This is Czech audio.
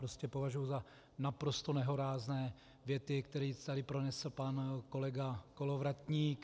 Prostě považuji za naprosto nehorázné věty, které tady pronesl pan kolega Kolovratník.